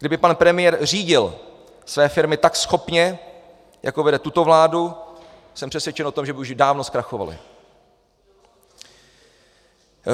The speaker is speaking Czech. Kdyby pan premiér řídil své firmy tak schopně, jako vede tuto vládu, jsem přesvědčen o tom, že by už dávno zkrachovaly.